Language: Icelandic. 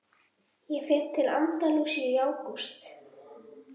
Ég fer til Andalúsíu í ágúst.